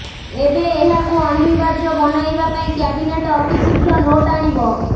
ଏବେ ଏହାକୁ ଅନିର୍ବାର୍ଯ୍ୟ ବନାଇବା ପାଇଁ କ୍ୟାବିନେଟ୍ ଅତି ଶୀଘ୍ର ନୋଟ୍ ଆଣିବ